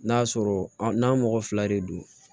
N'a sɔrɔ n'a mɔgɔ fila de don